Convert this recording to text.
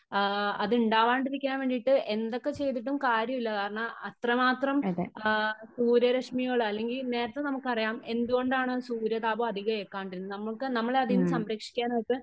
ആ അതുണ്ടാവാണ്ടിരിക്കാൻ വേണ്ടിയിട്ട് എന്തൊക്കെ ചെയ്തിട്ടും കാര്യമില്ല . കാരണം അത്രമാത്രം ആ സൂര്യ രെശ്മികൾ അല്ലെങ്കിൽ നേരത്തെ നമുക്ക് അറിയാം എന്തുകൊണ്ടാണ് സൂര്യതാപം അതികം എക്കാണ്ടിരുന്നത് . നമ്മക്ക് നമ്മളെ അതിൽ നിന്നു സംരക്ഷിക്കാനായിട്ട്